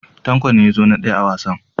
Tanko ne ya zo na daya a wasan.